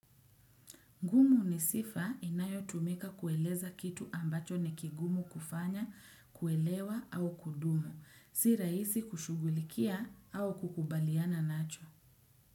Ngumu ni sifa inayotumika kueleza kitu ambacho ni kigumu kufanya, kuelewa au kudumu, si rahisi kushughulikia au kukubaliana nacho.